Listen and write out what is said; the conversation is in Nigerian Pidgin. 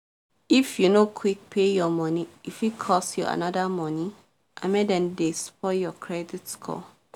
if you no quick pay your money e fit cause you another money and make dem dem spoil your credit score